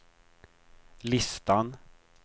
listan